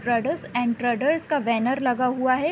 Traders and traders का banner लगा हुआ है।